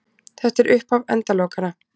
Þetta er upphaf endalokanna